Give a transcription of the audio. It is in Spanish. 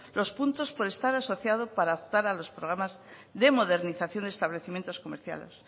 los puntos por estar asociado para optar a los programas de modernización de establecimientos comerciales